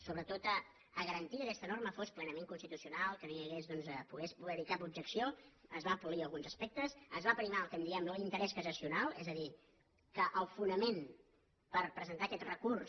sobretot per garantir que aquesta norma fos plenament constitucional que no pogués haver hi cap objecció es van polir alguns aspectes es va aprimar el que en diem l’interès cassacional és a dir que el fonament per presentar aquest recurs